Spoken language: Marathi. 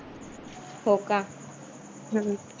हो का.